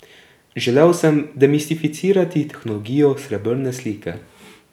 Želel sem demistificirati tehnologijo srebrne slike.